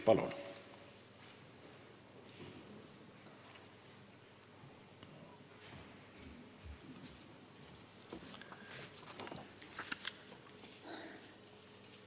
Palun!